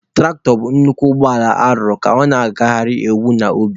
Tụraktọ bụ nnukwu ụgbọ ala arụrụ ka ọ na-agagharịnwu n'ubi.